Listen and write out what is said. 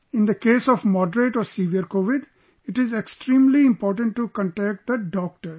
In the case of moderate or severe Covid, it is extremely important to contact the Doctor